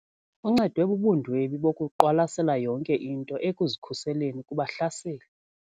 Uncedwe bubundwebi bokuqwalasela yonke into ekuzikhuseleni kubahlaseli.